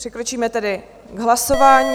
Přikročíme tedy k hlasování.